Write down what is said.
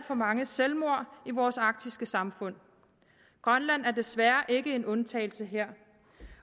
for mange selvmord i vores arktiske samfund grønland er desværre ikke en undtagelse her